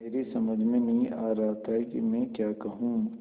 मेरी समझ में नहीं आ रहा था कि मैं क्या कहूँ